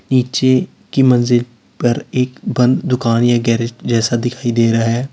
नीचे की मंजिल पर एक बंद दुकान या गैरेज जैसा दिखाई दे रहा है।